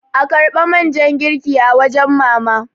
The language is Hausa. a karbi man ja girki a wajen mama!